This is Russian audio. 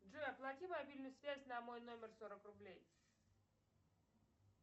джой оплати мобильную связь на мой номер сорок рублей